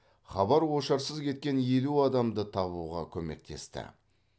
хабар ошарсыз кеткен елу адамды табуға көмектесті